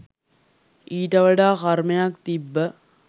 ඊට වඩා කර්මයක් තිබ්බ